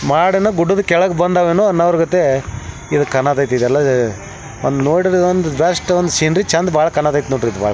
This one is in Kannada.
ಮಾಡನ ಗುಡ್ಡದ ಕೆಳಗೆ ಬಂದವೇನೋ ಅನ್ನವರ್ಗತೆ ಇದ ಕಾಣೊದೈತಿ ಇದಲ್ಲ ಅಅ ಬಂದ್ ನೋಡಿದ್ರೊಂದ್ ಬೆಸ್ಟ್ ಸೀನ್ರೀ ಬಾಳ ಚೆಂದ್ ಬಾಳ ಕಣಕ್ಕೈತ್ ನೋಡ ಬಾಳ.